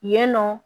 Yen nɔ